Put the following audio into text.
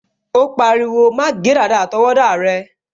O pariwo, "má gé dàda àtọwọ́dá rẹ"